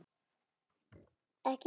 Ekki barist.